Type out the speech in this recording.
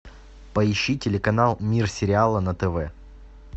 поищи телеканал мир сериала на тв